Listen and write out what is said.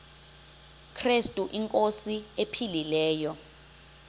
krestu inkosi ephilileyo